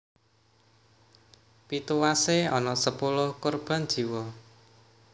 Pituwasé ana sepuluh korban jiwa